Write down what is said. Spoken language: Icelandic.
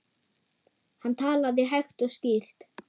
Hann talaði hægt og skýrt.